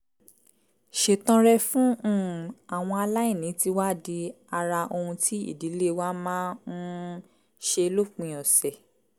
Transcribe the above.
ṣètọrẹ fún um àwọn aláìní ti wá di ara ohun tí ìdílé wa máa ń um ṣe lópin ọ̀sẹ̀